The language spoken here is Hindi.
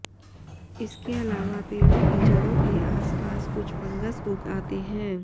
इसके अलावा पेड़ों की जड़ों के आस पास कुछ फंगस उग आते हैं